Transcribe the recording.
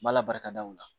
Bala barika da o la